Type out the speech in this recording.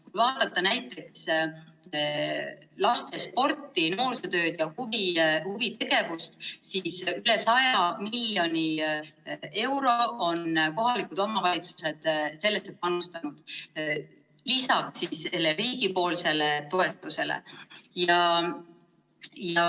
Kui vaadata näiteks lastesporti, noorsootööd ja huvitegevust, siis üle 100 miljoni euro on kohalikud omavalitsused panustanud lisaks riigi toetusele.